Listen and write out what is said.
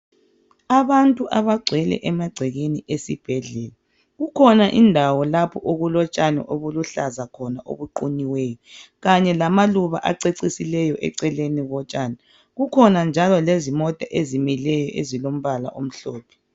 abantu abagcwele emagcekeni esibhedlela kukhona indawo lapho okulotshani obuluhlaza khona obuqunyiweyo kanye lamaluba acecisileyo eceleni kotshani kukhona njalo lezimota ezimileyo ezilombala omhlophe